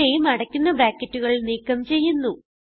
ഇവിടെയും അടയ്ക്കുന്ന ബ്രാക്കറ്റുകൾ നീക്കം ചെയ്യുന്നു